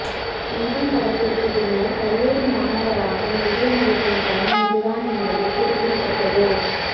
நண்பன் படத்திற்கு பின்னர் கல்லூரி மாணவராக விஜய் நடிக்கும் படம் இதுதான் என்பது குறிப்பிடத்தக்கது